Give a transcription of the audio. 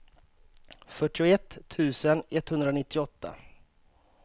fyrtioett tusen etthundranittioåtta